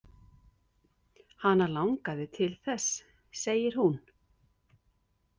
Hana langaði til þess, segir hún.